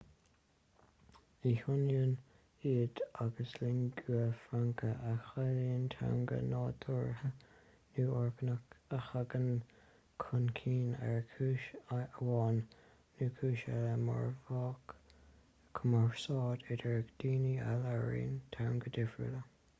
ní hionann iad agus lingua franca a chiallaíonn teanga nádúrtha nó orgánach a thagann chun cinn ar chúis amháin nó cúis eile mar mhodh cumarsáide idir dhaoine a labhraíonn teangacha difriúla